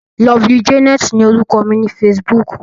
Lovely Janet ni orúkọ mi ní Facebook.